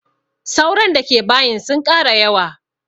Sauron da ke bayin sun ƙara yawa